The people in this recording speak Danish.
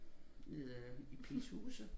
Nede i Pilshuse